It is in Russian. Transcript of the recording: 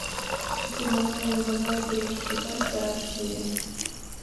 ивановы ивановы третий сезон вторая серия